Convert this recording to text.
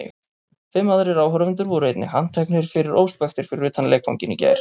Fimm aðrir áhorfendur voru einnig handteknir fyrir óspektir fyrir utan leikvanginn í gær.